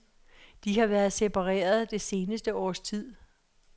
De har været separeret det seneste års tid.